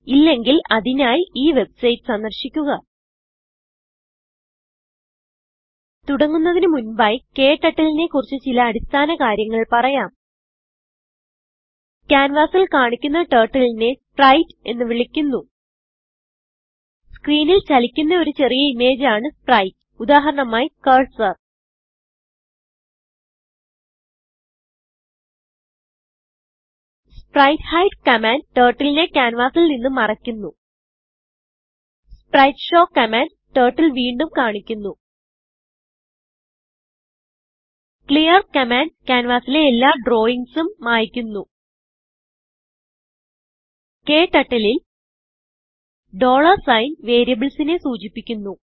ഇല്ലെങ്കിൽ അതിനായി ഈ വെബ്സൈറ്റ് സന്ദർശിക്കുക തുടങ്ങുന്നതിന് മുൻപായി ക്ടർട്ടിൽ നെ കുറിച്ച് ചില അടിസ്ഥാന കാര്യങ്ങൾ പറയാം ക്യാൻവാസിൽ കാണിക്കുന്നTurtle നെ spriteഎന്ന് വിളിക്കുന്നു സ്ക്രീനിൽ ചലിക്കുന്ന ഒരു ചെറിയ ഇമേജ് ആണ് spriteഉദാഹരണമായി കർസർ സ്പ്രൈറ്റ്ഹൈഡ് കമാന്റ് turtleനെ ക്യാൻവാസിൽ നിന്ന് മറയ്ക്കുന്നു spriteshowകമാൻഡ് ടർട്ടിൽ വീണ്ടും കാണിക്കുന്നു clearകമാൻഡ് ക്യാൻവാസിലെ എല്ലാ drawingsഉം മായിക്കുന്നു KTurtleൽ സൈൻ variablesനെ സൂചിപ്പിക്കുന്നു